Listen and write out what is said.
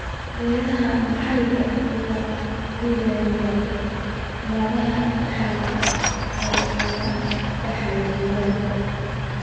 Beeraha maxalliga ah ayaa ilaaliya noocyada dhaxalka ee ay dhaxlaan jiilal.